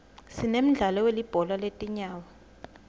sinemdlalo welibhola letinyawo